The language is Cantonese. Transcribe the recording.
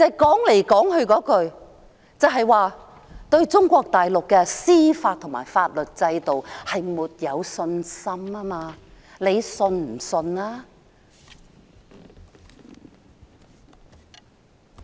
其實，說到底，就是對中國大陸的司法和法律制度沒有信心。